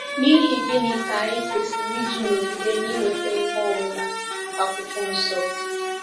N’ihi gịnị ka anyị kwesịrị iji nọgide na-inweta ihe ọmụma Akwụkwọ Nsọ?